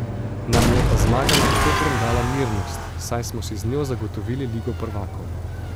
Nam je pa zmaga nad Koprom dala mirnost, saj smo si z njo zagotovili Ligo prvakov.